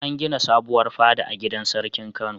An gina sabuwar fada a gidan sarkin Kano.